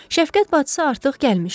Şəfqət bacısı artıq gəlmişdi.